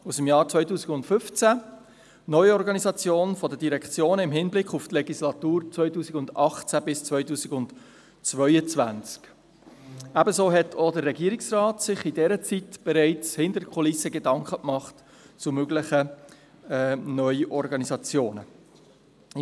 aus dem Jahr 2015, «Neuorganisation der Direktionen im Hinblick auf die Legislatur 2018–2022» Ebenso hat sich auch der Regierungsrat in dieser Zeit bereits hinter den Kulissen zu möglichen Neuorganisationen Gedanken gemacht.